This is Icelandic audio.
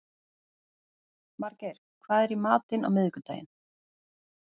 Margeir, hvað er í matinn á miðvikudaginn?